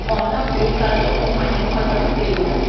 ona buka tokomane kgotsa selo